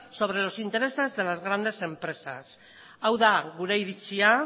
sobre los intereses de las grandes empresas hau da gure iritzia